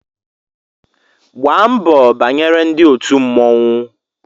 Gbaa mbọ banyere ndị òtù mmọnwụ!